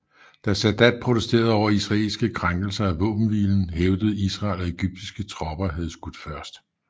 Da Sadat protesterede over israelske krænkelser af våbenhvilen hævdede Israel at egyptiske tropper havde skudt først